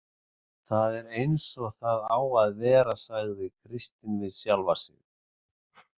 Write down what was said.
Það er eins og það á að vera, sagði Kristín við sjálfa sig.